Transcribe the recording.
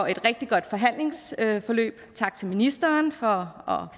et rigtig godt forhandlingsforløb tak til ministeren for